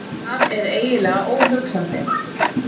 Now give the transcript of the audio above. Það er eiginlega óhugsandi.